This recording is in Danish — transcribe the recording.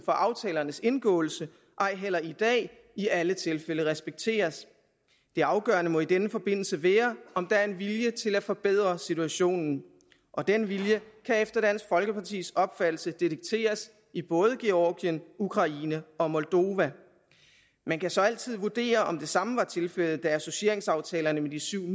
for aftalernes indgåelse og ej heller i dag i alle tilfælde respekteres det afgørende må i denne forbindelse være om der er en vilje til at forbedre situationen og den vilje kan efter dansk folkepartis opfattelse detekteres i både georgien ukraine og moldova man kan så altid vurdere om det samme var tilfældet da associeringsaftalerne med de syv